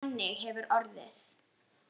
Þannig hefur orðið